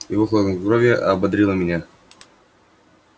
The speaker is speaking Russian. его хладнокровие ободрило меня